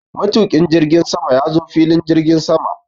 Matuƙin jirgin sama ya zo filin jirgin sama.